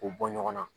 K'u bɔ ɲɔgɔn na